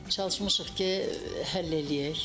Çalışmışıq ki, həll eləyək.